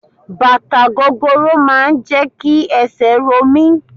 Bàtà gogoro máà ń jẹ́ kí esè ro mí.